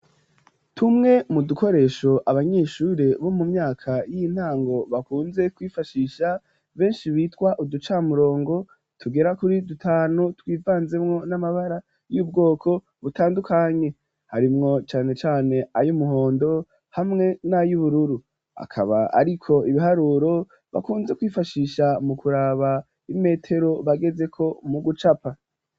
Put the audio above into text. Tumwe mu dukoresho abanyeshure bo mu myaka y'intango bakunze kwifashisha, benshi bitwa uducamurongo tugera kuri dutanu, twivanzemwo n'amabara y'ubwoko butandukanye harimwo cane cane ay'umuhondo hamwe n'ay'ubururu, akaba ariko ibiharuro bakunze kwifashisha mu kuraba imetero bagezeko mu gucapa.